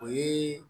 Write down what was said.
O ye